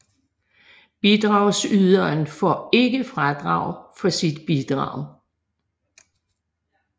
Bidragsyderen får ikke fradrag for sit bidrag